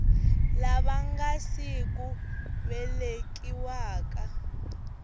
lava nga si ku velekiwaka